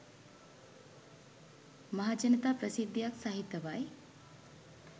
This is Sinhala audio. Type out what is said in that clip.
මහජනතා ප්‍රසිද්ධියක් සහිතවයි.